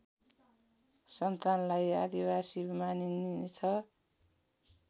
सन्तानलाई आदिवासी मानिनेछ